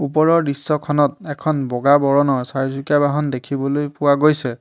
ওপৰৰ দৃশ্যখনত এখন বগা বৰণৰ চাৰিচকীয়া বাহন দেখিবলৈ পোৱা গৈছে।